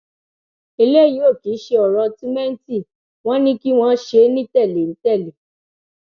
eléyìí ò kìí ṣe ọrọ túmẹǹtì wọn ni kí wọn ṣe é ní tẹlé ń tẹlé